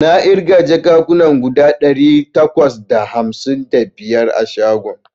Na ƙirga jakan kuna guda ɗari takwas da hamsin da biyar a shagon